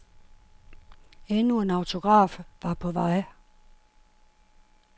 Endnu en autograf var på vej.